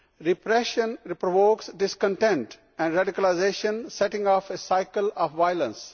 Repression re provokes discontent and radicalisation, setting off a cycle of violence.